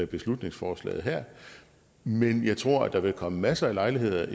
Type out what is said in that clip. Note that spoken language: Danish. beslutningsforslaget her men jeg tror at der vil komme masser af lejligheder